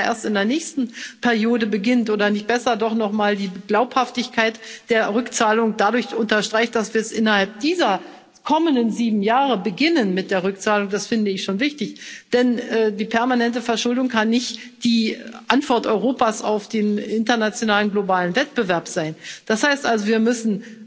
Und ob man da erst in der nächsten Periode beginnt oder nicht besser doch noch einmal die Glaubhaftigkeit der Rückzahlung dadurch unterstreicht, dass wir innerhalb dieser kommenden sieben Jahre mit der Rückzahlung beginnen, das finde ich schon wichtig. Denn die permanente Verschuldung kann nicht die Antwort Europas auf den internationalen globalen Wettbewerb sein. Das heißt also Wir müssen